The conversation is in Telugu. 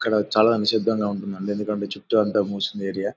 ఇక్కడ చాలా నిశ్శబ్దంగా ఉంటుందండి. ఎందుకంటే చుట్టూ అంతా మూసి ఉంది ఏరియా .